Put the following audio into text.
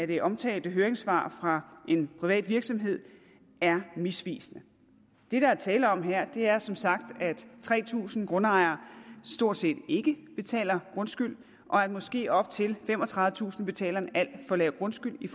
det omtalte høringssvar fra en privat virksomhed er misvisende det der er tale om her er som sagt at tre tusind grundejere stort set ikke betaler grundskyld og at måske op til femogtredivetusind betaler en alt for lav grundskyld i